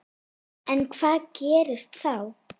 En hvað gerist þá?